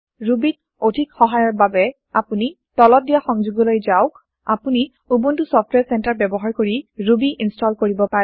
Ruby ত অধিক সহায়ৰ বাবে আপুনি তলত দিয়া সংযোগলৈ যাওক আপুনি উবুনটো ছফটৱাৰে চেন্টাৰে ব্যৱহাৰ কৰি ৰুবী ইন্চটল কৰিব পাৰে